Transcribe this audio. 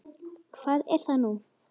Hvað er það nú?